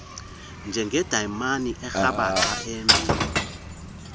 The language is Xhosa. njengedayimani erhabaxa eyembiwa